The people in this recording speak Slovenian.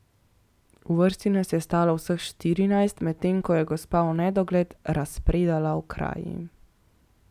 V vrsti nas je stalo vseh štirinajst, medtem ko je gospa v nedogled razpredala o kraji.